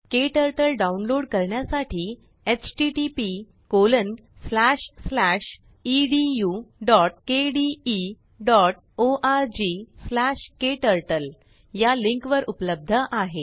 KTurtleडाऊनलोड करण्यासाठीhttpedukdeorgkturtleया लिंक वर उपलब्ध आहे